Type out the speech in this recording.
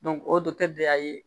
o bɛɛ y'a ye